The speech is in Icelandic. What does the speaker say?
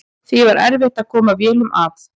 Því var erfitt að koma vélum að.